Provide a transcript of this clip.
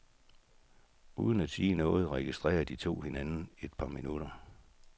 Uden at sige noget registrerer de to hinanden et par minutter.